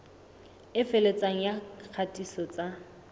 e felletseng ya kgatiso tsa